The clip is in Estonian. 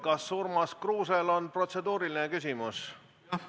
Kas Urmas Kruusel on protseduuriline küsimus?